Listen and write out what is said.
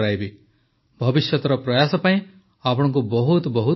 ଭବିଷ୍ୟତର ପ୍ରୟାସ ପାଇଁ ଆପଣଙ୍କୁ ବହୁତ ବହୁତ ଶୁଭକାମନା